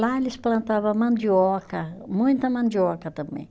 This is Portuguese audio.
Lá eles plantava mandioca, muita mandioca também.